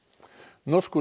norskur